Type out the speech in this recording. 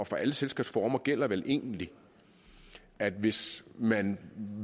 for alle selskabsformer gælder vel egentlig at hvis man